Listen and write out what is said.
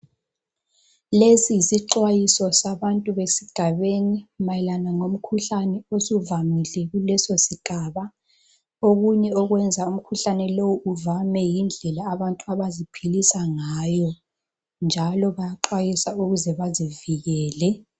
Lesi yisixwayizo sabantu besigabeni, mayelana lomkhuhlane osuvamile esigabeni. Okunye okwenza umkhuhlane lo uvame yindlela abantu abaziphilisa ngayo, njalo bayaxwayuswa ukuze abantu bazivikele.